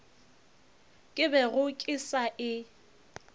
ke bego ke sa e